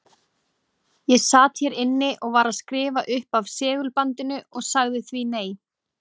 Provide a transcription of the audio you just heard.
Ég sat hér inni og var að skrifa upp af segulbandinu og sagði því nei.